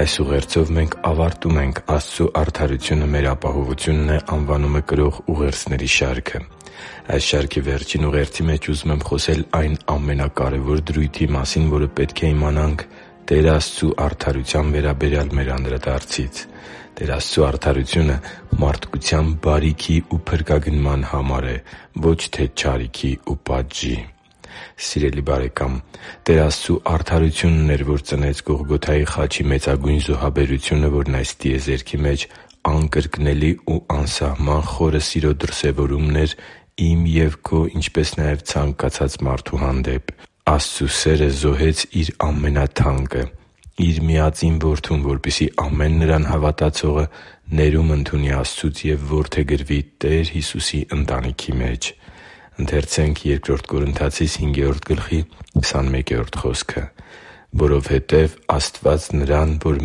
Այս ուղերձով մենք ավարտում ենք «Աստծու արդարությունը մեր ապահովությունն է» անվանումը կրող ուղերձների շարքը։ Այս շարքի վերջին ուղերձի մեջ ուզում եմ խոսել այն ամենակարևոր դրույթի մասին, որը պետք է իմանանք Տեր Աստծու արդարության վերաբերյալ մեր անդրադարձից։ Տեր Աստծու արդարությունը մարդկության բարիքի ու փրկագնման համար է, ոչ թե չարիքի ու պատժի։ Սիրելի՛ բարեկամ, Տեր Աստծու արդարությունն էր, որ ծնեց Գողգոթայի խաչի մեծագույն զոհաբերությունը, որն այս տիեզերքի մեջ անկրկնելի ու անսահման խորը սիրո դրսևորումն էր իմ և քո, ինչպես նաև` ցանկացած մարդու հանդեպ։ Աստծու սերը զոհեց Իր ամենաթանկը՝ Իր Միածին Որդուն, որպեսզի ամեն Նրան հավատացող ներում ընդունի Աստծուց և որդեգրվի Տեր Հիսուսի ընտանիքի մեջ։ «Որովհետև Աստված Նրան, որ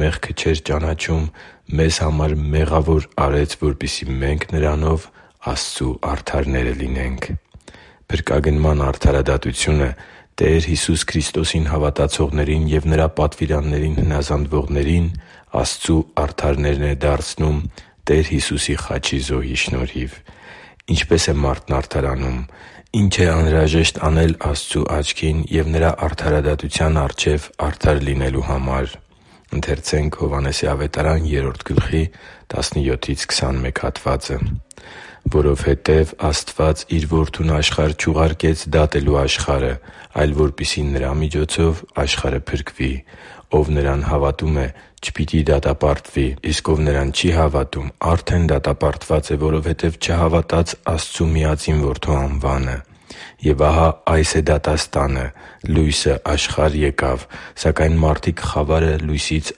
մեղքը չէր ճանաչում, մեզ համար մեղավոր արեց, որպեսզի մենք Նրանով Աստծու արդարները լինենք» (Բ Կորնթացիս 5․21): Փրկագնման արդարադատությունը Տեր Հիսուս Քրիստոսին հավատացողներին և Նրա պատվիրաններին հնազանդվողներին Աստծու արդարներն է դարձնում Տեր Հիսուսի խաչի զոհի շնորհիվ։ Ինչպե՞ս է մարդն արդարանում։ Ի՞նչ է անհրաժեշտ անել Աստծու աչքին և Նրա արդարադատության առջև արդար լինելու համար։ «Որովհետև Աստված Իր Որդուն աշխարհ չուղարկեց՝ դատելու աշխարհը, այլ որպեսզի Նրա միջոցով աշխարհը փրկվի։ Ով նրան հավատում է, չպիտի դատապարտվի, իսկ ով Նրան չի հավատում, արդեն դատապարտված է, որովհետև չհավատաց Աստծու միածին Որդու անվանը։ Եվ ահա այս է դատաստանը. լույսը եկավ աշխարհ, սակայն մարդիկ խավարը լույսից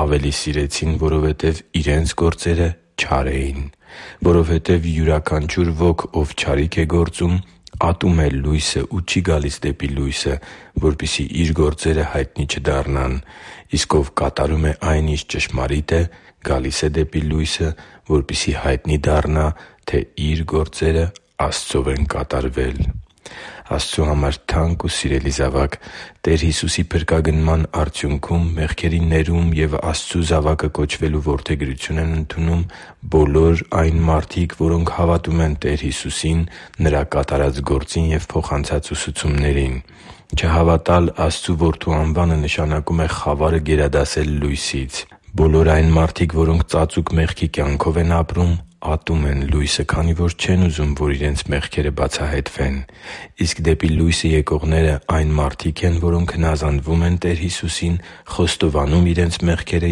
ավելի սիրեցին, որովհետև իրենց գործերը չար էին։ Որովհետև յուրաքանչյուր ոք, ով չարիք է գործում, ատում է լույսը ու չի գալիս դեպի լույսը, որպեսզի իր գործերը հայտնի չդառնան։ Իսկ ով կատարում է այն, ինչ ճշմարիտ է, գալիս է դեպի լույսը, որպեսզի հայտնի դառնա, թե իր գործերը Աստծով են կատարվել» (Հովհաննես 3.17-21)։ Աստծո համար թանկ ու սիրելի՛ զավակ, Տեր Հիսուսի փրկագնման արդյունքում մեղքերի ներում և Աստծու զավակը կոչվելու որդեգրություն են ընդունում բոլոր այն մարդիկ, որոնք հավատում են Տեր Հիսուսին՝ Նրա կատարած գործին և փոխանցած ուսուցումներին։ Չհավատալ Աստծու Որդու անվանը նշանակում է խավարը գերադասել լույսից։ Բոլոր այն մարդիկ, որոնք ծածուկ մեղքի կյանքով են ապրում, ատում են լույսը, քանի որ չեն ուզում, որ իրենց մեղքերը բացահայտվեն։ Իսկ դեպի լույսը եկողներն այն մարդիկ են, որոնք հնազանդվում են Տեր Հիսուսին՝ խոստովանում իրենց մեղքերը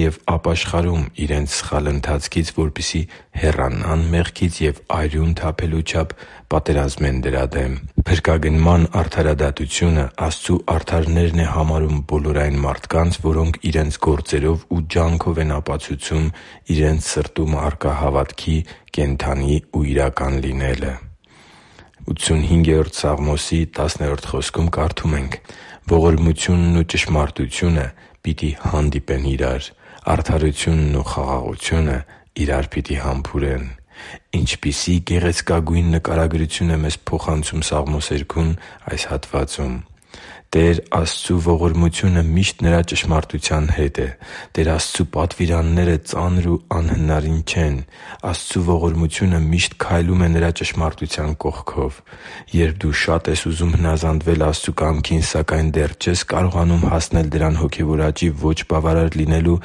և ապաշխարում իրենց սխալ ընթացքից, որպեսզի հեռանան մեղքից ու արյուն թափելու չափ պատերազմեն դրա դեմ։ Փրկագնման արդարադատությունը Աստծու արդարներն է համարում բոլոր այն մարդկանց, որոնք իրենց գործերով ու ջանքով են ապացուցում իրենց սրտում առկա հավատքի՝ կենդանի ու իրական լինելը։ «Ողորմությունն ու ճշմարտությունը պիտի հանդիպեն իրար, արդարությունն ու խաղաղությունը իրար պիտի համբուրեն» (Սաղմոս 85․10): Ինչպիսի՜ գեղեցկագույն նկարագրություն է մեզ փոխանցում սաղմոսերգուն այս հատվածում։ Տեր Աստծու ողորմությունը միշտ Նրա ճշմարտության հետ է։ Տեր Աստծու պատվիրանները ծանր ու անհնարին չեն։ Աստծու ողորմությունը միշտ քայլում է Նրա ճշմարտության կողքով։ Երբ դու շատ ես ուզում հնազանդվել Աստծու կամքին, սակայն դեռ չես կարողանում հասնել դրան հոգևոր աճի ոչ բավարար լինելու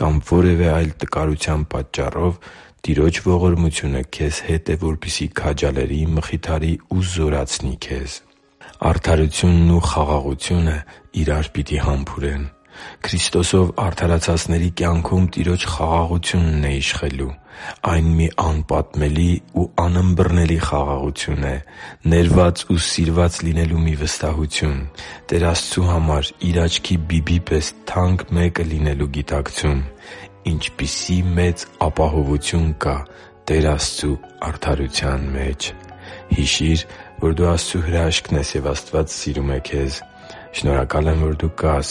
կամ որևէ տկարության պատճառով, Տիրոջ ողորմությունը քեզ հետ է, որպեսզի քաջալերի, մխիթարի ու զորացնի քեզ։ Արդարությունն ու խաղաղությունը իրար պիտի համբուրեն․․․ Քրիստոսով արդարացածների կյանքում Տիրոջ խաղաղությունն է իշխելու։ Այն մի անպատմելի ու անըմբռնելի խաղաղություն է։ Ներված ու սիրված լինելու մի վստահություն։ Տեր Աստծու համար Իր աչքի բիբի պես թանկ մեկը լինելու գիտակցում։ Ինչպիսի՜ մեծ ապահովություն կա Տեր Աստծու արդարության մեջ․․․ Հիշի՛ր, որ դու Աստծո հրաշքն ես, և Աստված սիրում է քեզ։ Շնորհակալ եմ, որ դու կա՛ս